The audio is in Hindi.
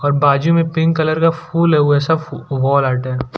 और बाजू मे पिंक कलर का फूल है वो ऐसा फु वॉल आर्ट है।